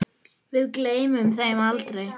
Við gleymum þeim aldrei.